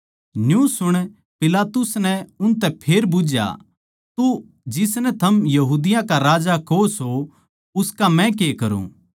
न्यू सुण पिलातुस नै उनतै फेर बुझ्झया तो जिसनै थम यहूदियाँ का राजा कहो सो उसका मै के करूँ